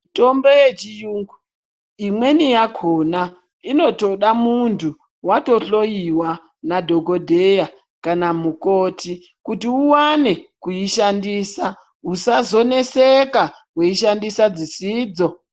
Tombo yechiyungu imweni yakhona inotoda muntu watohloyiwa Nadhokodheya kana mukoti kuti uwane kuishandisa usazoneseka weishandisa dzisidzo.